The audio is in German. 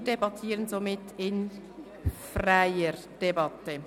Wir debattieren somit in freier Debatte.